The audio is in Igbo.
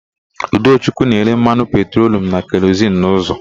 Udochukwu na-ere mmanụ petrolu na kerozin n'ụzọ.